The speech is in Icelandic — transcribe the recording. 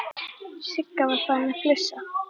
Sigga var farin að flissa.